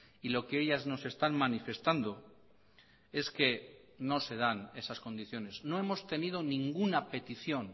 y lo que ellas nos están manifestando es que no se dan esas condiciones no hemos tenido ninguna petición